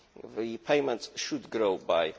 The payment should grow